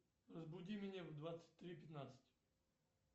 разбуди меня в двадцать три пятнадцать